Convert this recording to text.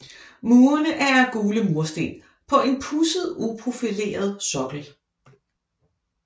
Murene er af gule mursten på en pudset uprofileret sokkel